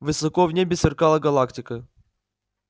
высоко в небе сверкала галактика